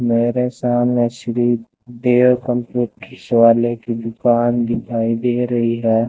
मेरे सामने Shri Bear computers वाले की दुकान दिखाई दे रही हैं।